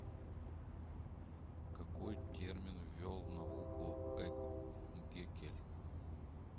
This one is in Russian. какой термин ввел в науку э геккель